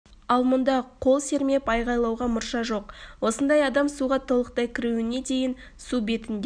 ал мұнда қол сермеп айғалауға мұрша жоқ осындай адам суға толықтай кіруіне дейін су бетінде